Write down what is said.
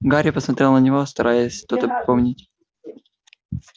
гарри посмотрел на него стараясь что-то припомнить